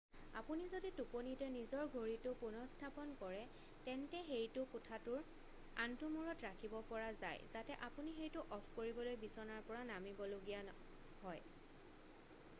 আপুনি যদি টোপনিতে নিজৰ ঘড়ীটো পুনঃস্থাপন কৰে তেন্তে সেইটো কোঠাটোৰ আনটো মূৰত ৰাখিব পৰা যায় যাতে আপুনি সেইটো অফ কৰিবলৈ বিচনাৰ পৰা নামিব লগীয়া হয়